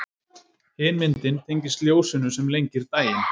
Hin myndin tengist ljósinu sem lengir daginn.